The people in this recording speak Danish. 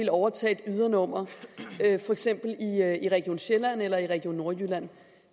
at overtage et ydernummer for eksempel i region sjælland eller i region nordjylland